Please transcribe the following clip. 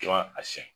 I b'a a siɲɛ